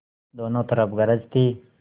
दोनों तरफ गरज थी